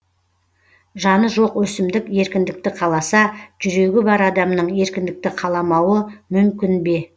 жаны жоқ өсімдік еркіндікті қаласа жүрегі бар адамның еркіндікті қаламауы мүмкін бе